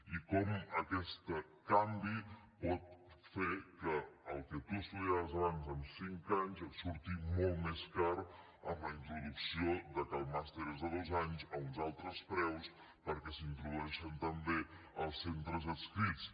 i com aquest canvi pot fer que el que tu estudiaves abans en cinc anys et surti molt més car amb la introducció que el màster és de dos anys a uns altres preus perquè s’introdueixen també els centres adscrits